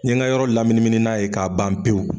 N ye ŋa yɔrɔ laminimini n'a ye k'a ban pewu